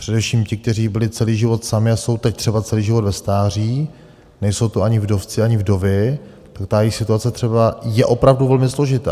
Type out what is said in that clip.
Především ti, kteří byli celý život sami a jsou teď třeba celý život ve stáří, nejsou to ani vdovci ani vdovy, že ta jejich situace třeba je opravdu velmi složitá.